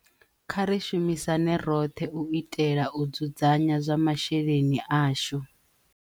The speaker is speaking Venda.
Kha ri shumisane roṱhe u itela u dzudzanya zwa masheleni ashu